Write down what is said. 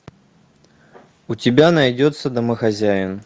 у тебя найдется домохозяин